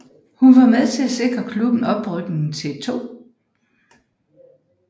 Hun var med til at sikre klubben oprykning til 2